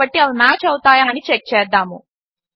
కాబట్టి అవి మ్యాచ్ అవుతాయా అని చెక్ చేద్దాము